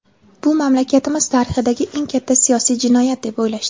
bu mamlakatimiz tarixidagi eng katta siyosiy jinoyat deb o‘ylashdi.